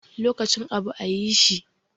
Lokacin abu ayi shi.